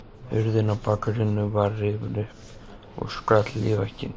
Hurðin á bakaríinu var rifin upp og skall í vegginn.